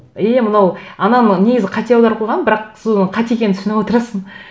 е мынау ананы негізі қате аударып қойған бірақ соны қате екенін түсініп отырасың